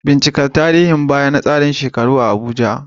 Bincika tarihin baya na tsarin shekaru a Abuja